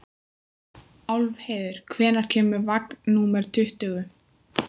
Álfheiður, hvenær kemur vagn númer tuttugu?